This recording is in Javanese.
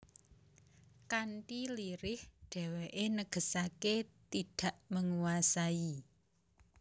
Kanthi lirih dheweke negesake tidak menguasai